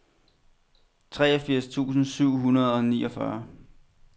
treogfirs tusind syv hundrede og niogfyrre